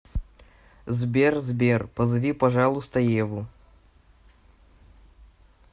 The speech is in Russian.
сбер сбер позови пожалуйста еву